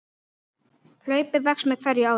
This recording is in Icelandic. Hlaupið vex með hverju árinu.